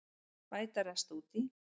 Bæta rest út í